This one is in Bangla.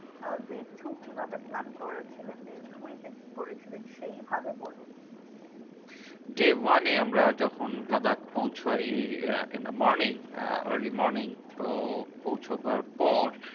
আহ day two কিভাবে plan করেছিলেন? day three তে কি করেছিলেন? সেইভাবে বলুন। day one এ আমরা যখন লাদাখ পৌঁছোই in the morning ah early morning তো পৌঁছোবার পর,